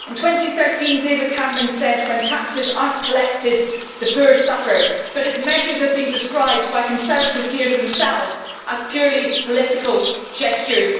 In 2013 David Cameron said that when taxes are not collected, the poor suffer, but his measures have been described by Conservative peers themselves as purely political gestures.